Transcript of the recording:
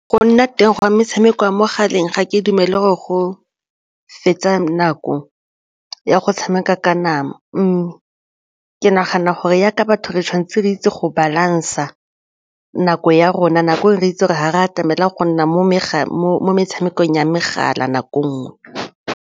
Go nna teng ga metshameko ya mo mogaleng ga ke dumele gore go fetsa nako ya go tshameka ka nama ke nagana gore yaka batho re tshwanetse re itse go balance-a nako ya rona, nako eo re itse gore ga re a tshwanela go nna mo metshamekong ya megala nako e nngwe.